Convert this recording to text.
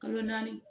Kalo naani